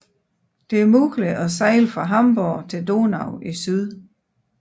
Det er muligt at sejle fra Hamborg til Donau i syd